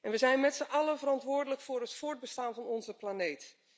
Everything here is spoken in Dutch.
We zijn met z'n allen verantwoordelijk voor het voortbestaan van onze planeet.